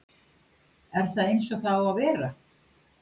er það eins og það á að vera?